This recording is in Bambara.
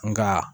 Nga